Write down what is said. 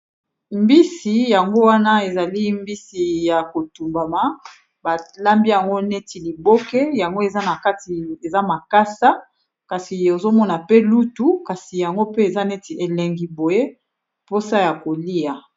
Mbisi yango wana ezali mbisi ya ko tumbama ba lambi yango neti liboke, yango eza na kati eza makasa, kasi ozo mona pe lutu kasi yango pe eza neti elengi boye posa ya kolia .